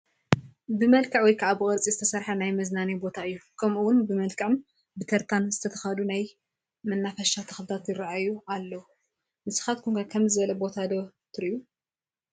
ብመልክዕ ወይ ከዓ ብቅርፂ ዝተሰርሐ ናይ መዝናነዬ ቦታ እዩ፡፡ ከምኡ ውን ብመልክዕን ብተርታን ዝተተኸሉ ናይ መናፈቫ ተኽልታት ይራኣሉ፡፡ ንስኻትኩም ከ ከምዚ ዝበለ ቦታ ዶ ትሪኡ?